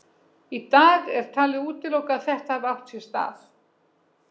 Í dag er talið útilokað að þetta hafi átt sér stað.